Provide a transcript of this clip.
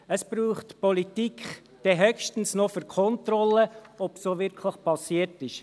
Es braucht die Politik dann höchstens noch für die Kontrolle, ob das auch wirklich passiert ist.